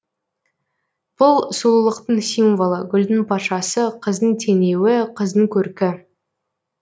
бұл сұлулықтың символы гүлдің патшасы қыздың теңеуі қыздың көркі